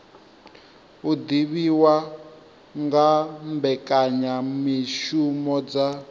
u divhiwa nga mbekanyamishumo dza